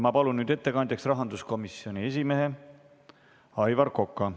Ma palun nüüd ettekandjaks rahanduskomisjoni esimehe Aivar Koka.